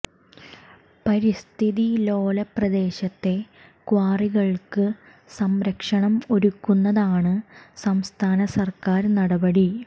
പരിസ്ഥിതി ലോല പ്രദേശത്തെ ക്വാറികള്ക്ക് സംരക്ഷണം ഒരുക്കുന്നതാണ് സംസ്ഥാന സര്ക്കാര് നടപടി